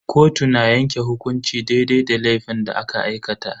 Kotu na yanke hukunci daidai da laifin da aka aikata.